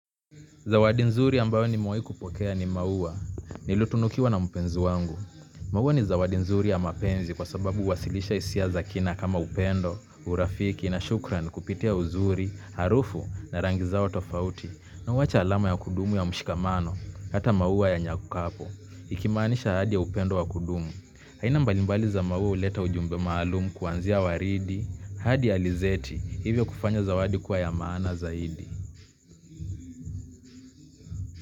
Zawadi nzuri ambayo nimewahi kupokea ni maua, nilitunukiwa na mpenzi wangu. Maua ni zawadi nzuri ya mapenzi kwa sababu huwasilisha hisia za kina kama upendo, urafiki na shukran kupitia uzuri, harufu na rangi zao tofauti na huacha alama ya kudumu ya mshikamano, hata maua yanyaukapo. Ikimaanisha ahadi ya upendo ya kudumu. Aina mbalimbali za maua huleta ujumbe maalumu kuanzia waridi, hadi ya alizeti, hivyo kufanya zawadi kuwa ya maana zaidi.